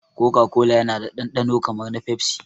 Koka kola yana da dandano kamar na pepsi